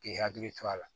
K'i hakili to a la